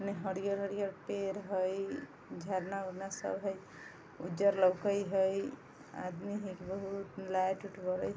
इने हरियर-हरियर पेड़ हेय झरना उड़ना सब हेय उज्जर लोको हेय आदमी हेय बहुत लाइट उट बड़े --